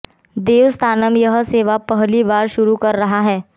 देवस्थानम यह सेवा पहली बार शुरू कर रहा है